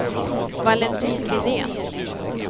Valentin Widén